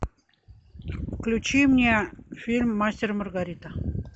включи мне фильм мастер и маргарита